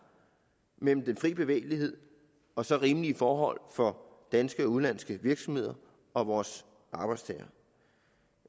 mellem den frie bevægelighed og så rimelige forhold for danske og udenlandske virksomheder og vores arbejdstagere